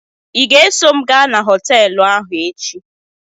ị ga-eso m gaa na họteelụ ahụ echi?